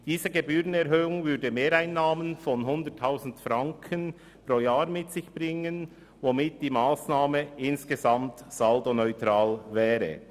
Diese Gebührenerhöhung würde Mehreinnahmen von 100 000 Franken pro Jahr mit sich bringen, womit die Massnahme insgesamt saldoneutral wäre.